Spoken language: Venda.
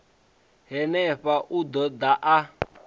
henefha u ḓo ḓa a